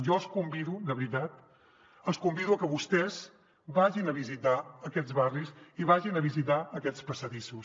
jo els convido de veritat a que vostès vagin a visitar aquests barris i vagin a visitar aquests passadissos